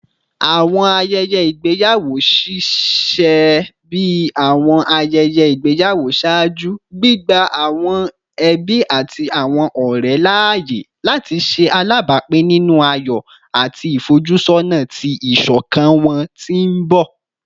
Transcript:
Awọn ayẹyẹ igbeyawo ṣiṣẹ bi awọn ayẹyẹ igbeyawo ṣaaju, gbigba awọn ẹbi ati awọn ọrẹ laaye lati ṣe alabapin ninu ayọ ati ifojusona ti iṣọkan wọn ti n bọ